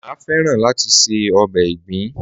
Máa fẹ́ràn láti se ọbẹ̀ ìgbín.